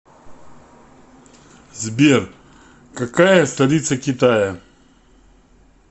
сбер какая столица китая